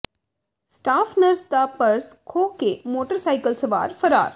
staff nurse ਦਾ purse ਖੋਹ ਕੇ ਮੋਟਰਸਾਈਕਲ ਸਵਾਰ ਫ਼ਰਾਰ